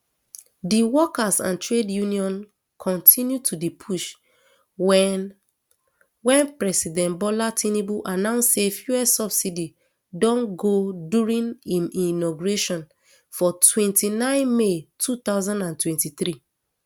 di workers and trade unions kontinu to push wen wen president bola tinubu announce say fuel subsidy don go during im inauguration for twenty-nine may two thousand and twenty-three